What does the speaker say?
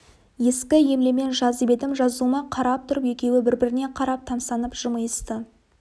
ескі емлемен жазып едім жазуыма қарап тұрып екеуі бір-біріне қарап тамсанып жымиысты